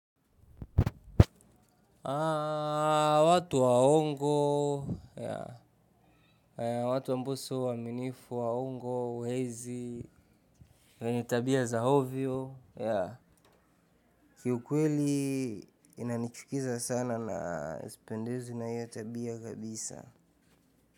Watu waongo, watu wa mbuso waaminifu waongo, wezi, wenye tabia za ovyo. Kiukweli inanichukiza sana na sipendezwi na hiyo tabia kabisa.